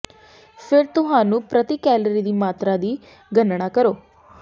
ਫਿਰ ਤੁਹਾਨੂੰ ਪ੍ਰਤੀ ਕੈਲਰੀ ਦੀ ਮਾਤਰਾ ਦੀ ਗਣਨਾ ਕਰੋ